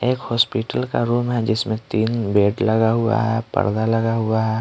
एक हॉस्पिटल का रूम है जिसमें तीन बेड लगा हुआ है परड़ा लगा हुआ है।